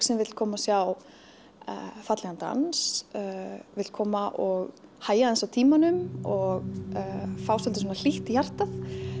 sem vill koma að sjá fallegan dans vill koma og hægja aðeins á tímanum og fá svolítið svona hlýtt í hjartað